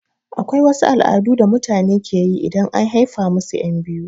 Akwai wasu al'adu da mutane keyi idan and haifa musu ƴan biyu